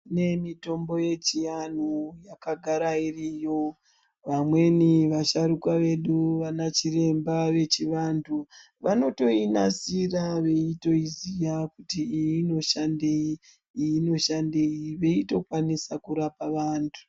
Kune mitombo yechianhu yakagara iriyo vamweni vasharukwa vedu vanachiremba vechivantu vanotoinasira veitoiziya kuti iyi inoshandei iyi inoshandei veitokwanisa kurapa vantu.